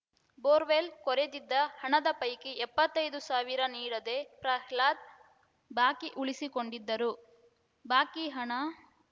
borewell ಕೊರೆದಿದ್ದ ಹಣದ ಪೈಕಿ ಎಪ್ಪತ್ತೈದು ಸಾವಿರ ನೀಡದೆ ಪ್ರಹ್ಲಾದ್‌ ಬಾಕಿ ಉಳಿಸಿಕೊಂಡಿದ್ದರು ಬಾಕಿ ಹಣ